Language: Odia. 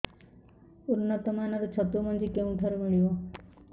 ଉନ୍ନତ ମାନର ଛତୁ ମଞ୍ଜି କେଉଁ ଠାରୁ ମିଳିବ